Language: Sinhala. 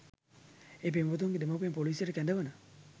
ඒ පෙම්වතුන්ගේ දෙමාපියන් පොලීසියට කැඳවන